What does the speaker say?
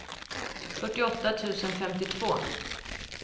fyrtioåtta tusen femtiotvå